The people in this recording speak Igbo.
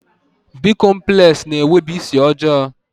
Bị́komplex na-enwebu isi ọjọọ